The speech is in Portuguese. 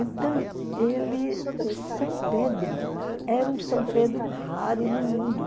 Então, ele o São Pedro era um São Pedro raro no mundo.